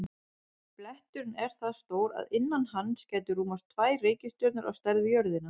Bletturinn er það stór að innan hans gætu rúmast tvær reikistjörnur á stærð við jörðina.